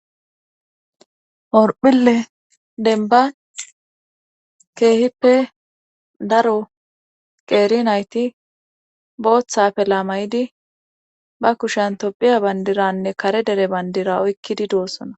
orphille denba keehippe daro qeeri naytiha afelaa mayidi ba kushan tophiya bandiranne kare dere bandira oykkidi doossona